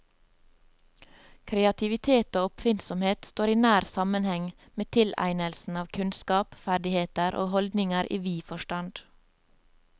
Kreativitet og oppfinnsomhet står i nær sammenheng med tilegnelsen av kunnskap, ferdigheter og holdninger i vid forstand.